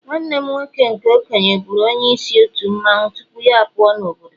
nwanne m nwoke nke okenye buru onye isi otu mmanwu tupu ya puo n' obodo